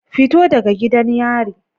Fito daga gidan yari.